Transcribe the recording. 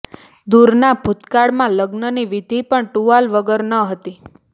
દૂરના ભૂતકાળમાં લગ્નની વિધિ પણ ટુવાલ વગર ન હતી